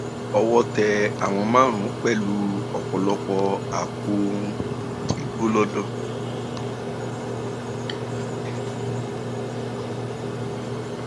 owó tẹ um àwọn márùnún pẹlú ọpọlọpọ àpò um igbó lodò